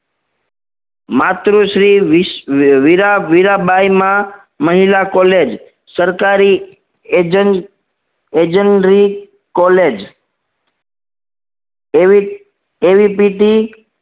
માતૃશ્રી વીસ વીરા વીરાબાઈ માં મહિલા college સરકારી એજન એજડરી college એવી એવીપીટી